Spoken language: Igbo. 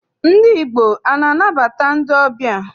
Ndị Igbo ana anabata ndị ọbịa?